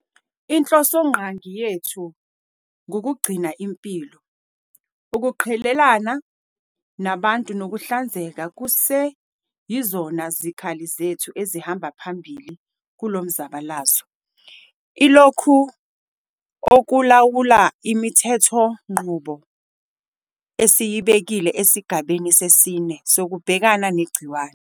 Inhlosongqangi yethu ngukugcina impilo. Ukuqhelelana nabantu nokuhlanzeka kuseyizona zikhali zethu ezihamba phambili kulo mzabalazo. Ilokhu okulawula imithethonqubo esiyibekile esigabeni sesine sokubhekana negciwane.